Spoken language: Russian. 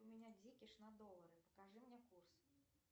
у меня дикиш на доллары покажи мне курс